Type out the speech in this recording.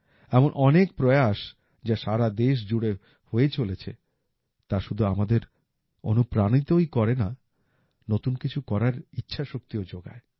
এমন অনেক প্রয়াস যা সারা দেশ জুড়ে হয়ে চলেছে তা শুধু আমাদের অনুপ্রাণিতই করে না নতুন কিছু করার ইচ্ছা শক্তিও যোগায়